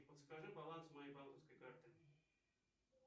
подскажи баланс моей банковской карты